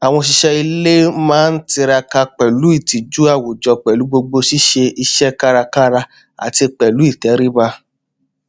àwọn òṣìṣẹ ilé kan má n tiraka pẹlú ìtìjú àwùjọ pẹlú gbogbo ṣíṣe iṣẹ kárakára àti pẹlú ìtẹríba